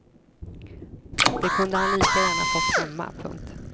Det kunde han lika gärna fått hemma. punkt